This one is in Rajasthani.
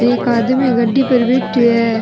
एक आदमी गाड़ी पर बैठो है।